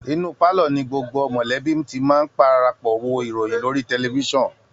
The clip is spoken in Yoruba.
Inú pálọ̀ọ̀ ni gbogbo mọ̀lẹ́bí ti máa ń parapọ̀ wo ìròyìn lórí tẹlifiṣàn